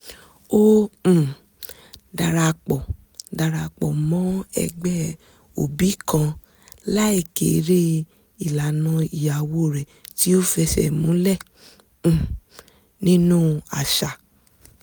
ó um darapọ̀ darapọ̀ mọ́ ẹgbẹ́ òbí kan láì kéré ìlànà ìyàwó rẹ̀ tí ó fẹsẹ̀ múlẹ̀ um nínú àṣà